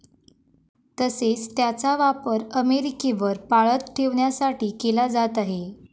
तसेच त्याचा वापर अमेरिकेवर पाळत ठेवण्यासाठी केला जात आहे.